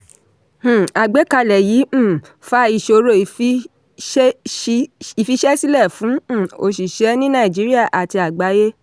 um àgbékalẹ̀ yìí um fa iṣòrò ìfiṣẹ́sílẹ̀ fún um òṣìṣẹ́ ni nàìjíríà àti àgbayé.